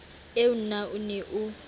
eo na o ne o